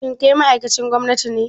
Kai ma ma'aikacin gwamnati ne?